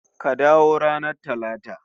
Ka dawo ranar Talata